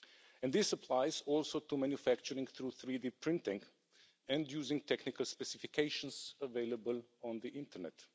And this applies also to manufacturing through 3D printing and using technical specifications available on the Internet.